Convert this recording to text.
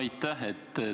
Aitäh!